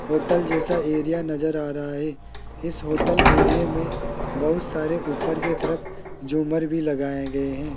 Hotel जैसा area नजर आ रहा है इस होटल एरिये में बहुत सारे ऊपर की तरफ झूमर भी लगाए गए हैं।